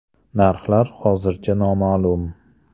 Narxlari hozircha noma’lum.